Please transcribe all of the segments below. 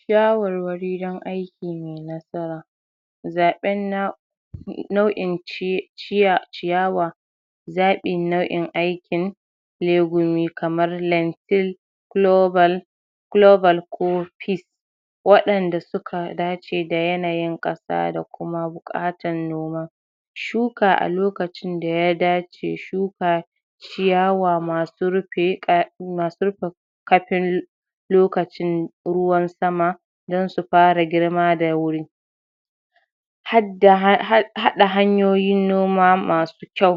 shawarwari don aiki mai nasara zaɓen nau'in ci ciya ciyawa zaɓin nau'in aikin lebo me kamar lentin klobal ko klobal ko pis waɗanda suka dace da yanayin ƙasa da kuma buƙatan noma shuka a lokacin da ya dace shuka ciyawa masu rufe ƙa masu rufe ƙafin lokacin ruwan sama don su fara girma da wuri. hadda haɗa hanyoyin noma masu kyau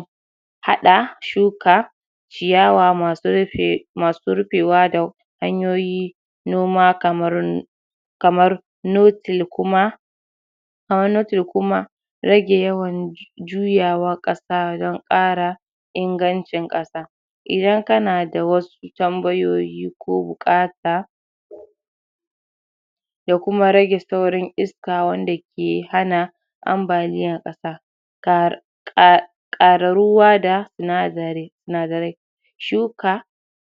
haɗa shuka ciyawa masu rufe masu rufewa da hanyoyi noma kamar kamar nopil kuma kaman nopil kuma rage yawan juyawan ƙasa don ƙara ingancin ƙasa. idan kana da wasu tambayoyi ko buƙata da kuma rage saurin iska wanda ke hana ambaliyan ƙasa kar ƙar ruwa da sinadari sinadarai shuka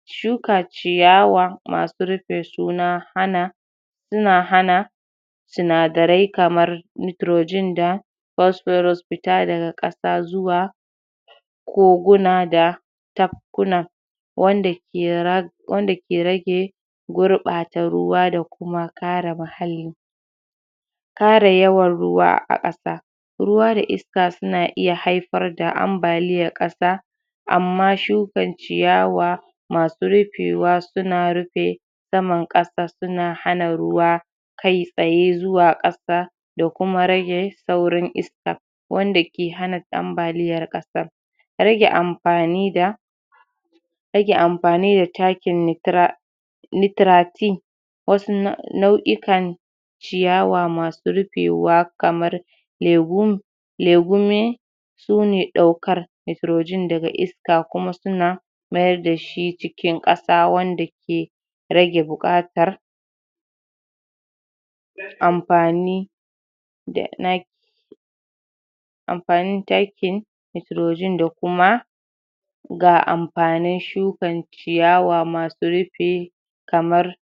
shuka ciyawa masu rufe su na hana suna hana sinadarai kamar nitrogen da pophorous fita daga ƙasa zuwa koguna da tafkuna wanda ke rage gurɓata ruwa da kuma kare muhalli. kare yawan ruwa a ƙasa. ruwa da iska suna iya haifar da ambaliyar ƙasa amma shuka ciyawa masu rufewa suna rufe saman ƙasa suna hana ruwa kaitsaye zuwa ƙasa da kuma rage saurin iska. wanda ke hana ambaliyar ƙasa. rage amfani da rage amfani da takin nitra nitratin wasu nau'ikan ciyawa masu rufewa kamar lagun lagune sune ɗaukar nitrogen daga iska kuma suna mayar dashi cikin ƙasa wanda ke rage buƙatar amfani da na amfanin takin nitrogen da kuma ga amfanin shukan ciyawa masu rufe kamar.